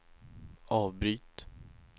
avbryt